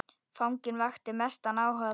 Fanginn vakti mestan áhuga þeirra.